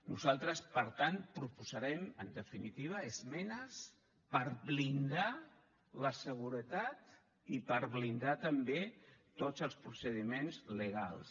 nosaltres per tant proposarem en definitiva esmenes per blindar la seguretat i per blindar també tots els procediments legals